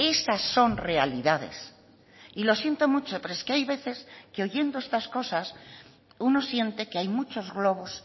esas son realidades y lo siento mucho pero es que hay veces que oyendo estas cosas uno siente que hay muchos globos